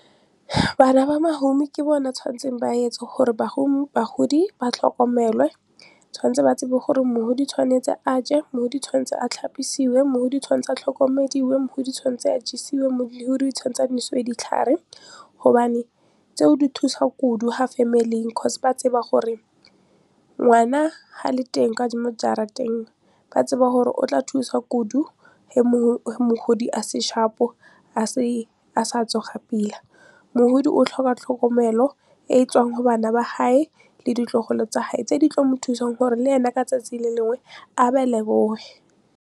Bana ba mohumi ke bona tshwanetseng ba etse gore bagodi ba tlhokomelwe, tshwanetse ba tsebe gore mohodi tshwanetse a je, mohodi tshwanetse a tlhapisiwe, mohodi tshwanetse a tlhokomediwe, mohodi tshwanetse a jesiwe, mohodi tshwanetse a nosiwe ditlhare gobane tseo di thusa kudu farmily-ing ba tseba gore ngwana ha le teng mo jarateng ba tseba hore o tla thusa kudu a se sharp-o, a sa tsoga pila. Mogodi o tlhoka tlhokomelo e e tswang go bana ba hae le ditlogolo tsa hae tse di tlo thusang gore le ene ka 'tsatsi le lengwe a ba leboge.